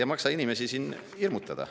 Ei maksa inimesi siin hirmutada.